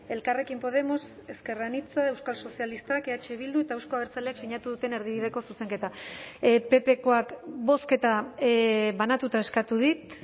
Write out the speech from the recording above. elkarrekin podemos ezker anitza euskal sozialistak eh bildu eta euzko abertzaleak sinatu duten erdibideko zuzenketa ppkoak bozketa banatuta eskatu dit